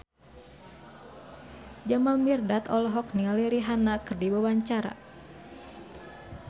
Jamal Mirdad olohok ningali Rihanna keur diwawancara